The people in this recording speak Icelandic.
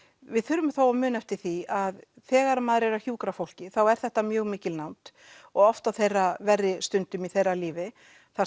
við þurfum þó að muna eftir því að þegar maður er að hjúkra fólki þá er þetta mjög mikil nánd og oft á þeirra verri stundum í þeirra lífi þar